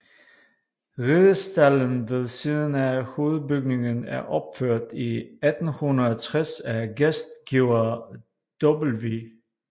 Ridestalden ved siden af hovedbygningen er opført i 1860 af gæstgiver W